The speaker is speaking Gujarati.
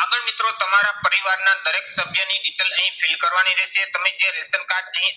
આગળ મિત્રો તમારા પરિવારના દરેક સભ્યની detail અહીં fill કરવાની રહેશે. તમે જે ration કાર્ડ અહીં